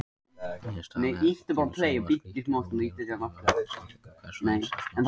Niðurstaðan er því sú að slíkt er óheimilt nema með samþykki hvers og eins starfsmanns.